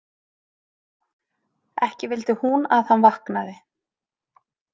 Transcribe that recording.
Ekki vildi hún að hann vaknaði.